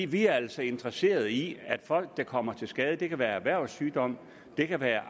vi er altså interesseret i at folk der kommer til skade og det kan være ved erhvervssygdom det kan være